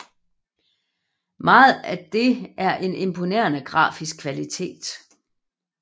Meget af det er af en imponerende grafisk kvalitet